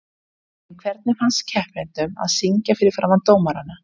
En hvernig fannst keppendunum að syngja fyrir framan dómarana?